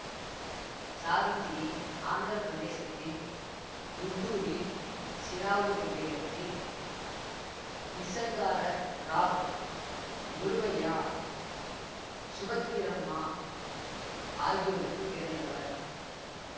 சாவித்திரி ஆந்திர பிரதேசத்தில் குண்டூரில் சிறாவூர் என்ற இடத்தில் நிசங்கார ராவ் குருவையா சுபத்திரம்மா ஆகியோருக்குப் பிறந்தவர்